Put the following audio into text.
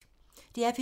DR P2